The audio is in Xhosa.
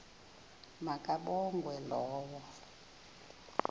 ma kabongwe low